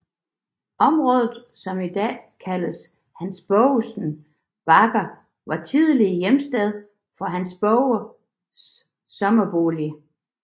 Området som i dag kaldes Hans Broges bakker var tidligere hjemsted for Hans Broges sommerbolig